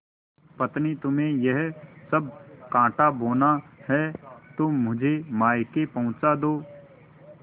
पत्नीतुम्हें यह सब कॉँटा बोना है तो मुझे मायके पहुँचा दो